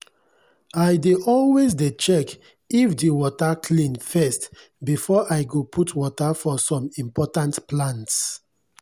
i dey always dey check if de water clean first before i go put water for som important plants.